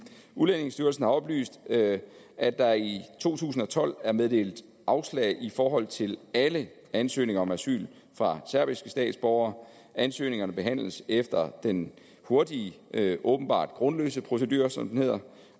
udlændingestyrelsen har oplyst at at der i to tusind og tolv er blevet meddelt afslag i forhold til alle ansøgninger om asyl fra serbiske statsborgere ansøgningerne behandles efter den hurtige åbenbart grundløs procedure som den hedder